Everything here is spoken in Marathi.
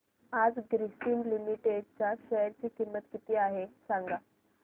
आज ग्रासीम लिमिटेड च्या शेअर ची किंमत किती आहे सांगा